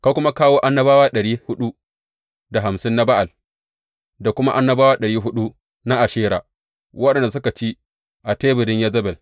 Ka kuma kawo annabawa ɗari huɗu da hamsin na Ba’al, da kuma annabawa ɗari huɗu na Ashera, waɗanda suke ci a teburin Yezebel.